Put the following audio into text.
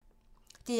DR1